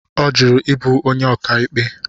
Ọ jụrụ ịbụ onye ọkàikpe.